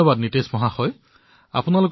নীতিশ মহোদয় আপোনাক অনেক সাধুবাদ